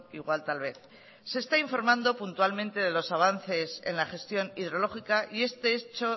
igual tal vez se está informando puntualmente de los avances en la gestión hidrológica y este hecho